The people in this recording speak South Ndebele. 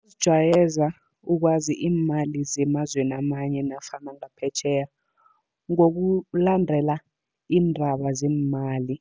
Kuzijayeza ukwazi iimali zemazweni amanye nofana ngaphetjheya. Ngokulandela iindaba zeemali,